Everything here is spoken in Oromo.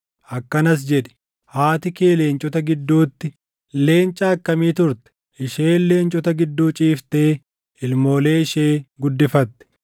akkanas jedhi: “ ‘Haati kee leencota gidduutti, leenca akkamii turte! Isheen leencota gidduu ciiftee ilmoolee ishee guddifatte.